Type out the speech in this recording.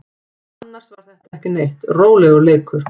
Annars var þetta ekki neitt, rólegur leikur.